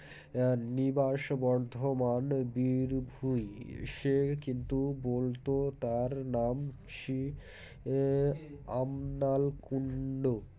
BREATHনিবাস বর্ধমান বীরভুই সে কিন্তু বলতো তার নাম শ্রী এএ আমনাল কুন্ডু